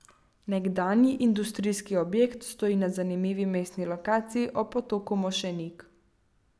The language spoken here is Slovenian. Nekdanji industrijski objekt stoji na zanimivi mestni lokaciji ob potoku Mošenik.